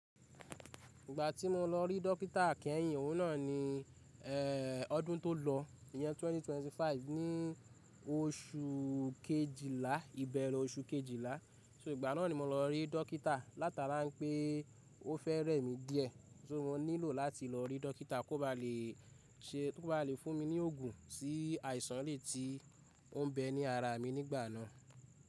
Ìgbà tí mo lọ rí dókítà keyin òun náà ni eh ọdún tó lọ, ìyẹn 2025, ní oṣù Kejìlá, ìbẹ̀rẹ̀ oṣù Kejìlá. So ìgbà náà ni mo lọ rí dókítà látara wipé ó fẹ́ rẹ́ mi díẹ̀. So, mo nílò láti lọ rí dókítà kó ba lè se kó ba lè fún mi ní òògùn sí àìsàn elèyii tí ó ń bẹ ní ara mi nígbà náà.